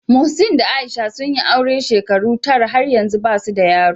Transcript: Muhseen da Aisha sun yi aure shekaru tara, har yanzu ba su da yaro.